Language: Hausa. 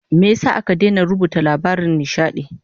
Me yasa aka daina gasar runuta labaran nishadi?